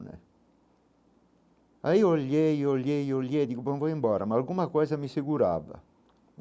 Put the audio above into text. Né aí eu olhei, olhei, olhei, digo, bom, vou embora, mas alguma coisa me segurava.